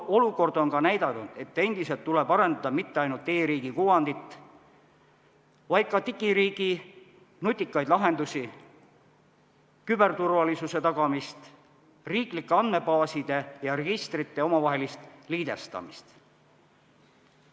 Olukord on ka näidanud, et endiselt tuleb arendada mitte ainult e-riigi kuvandit, vaid ka digiriigi nutikaid lahendusi, küberturvalisust, riiklike andmebaaside ja registrite omavahelist liidestamist.